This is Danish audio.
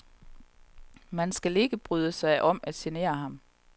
Man skal ikke bryde sig om at genere ham.